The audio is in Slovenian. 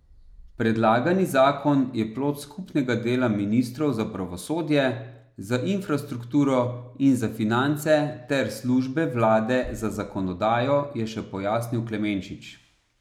Predlagani zakon je plod skupnega dela ministrov za pravosodje, za infrastrukturo in za finance ter službe vlade za zakonodajo, je še pojasnil Klemenčič.